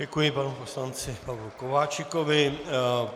Děkuji panu poslanci Pavlu Kováčikovi.